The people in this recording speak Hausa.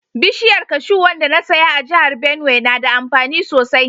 Bishiyar kashu wanda na saya a jihar Benue na da amfani sosai